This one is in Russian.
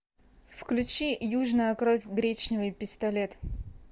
включи южная кровь гречневый пистолет